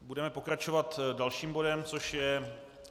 Budeme pokračovat dalším bodem, což je